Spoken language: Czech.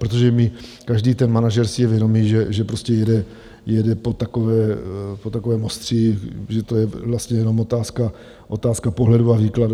Protože každý ten manažer si je vědomý, že prostě jede po takovém ostří, že to je vlastně jenom otázka pohledu a výkladu.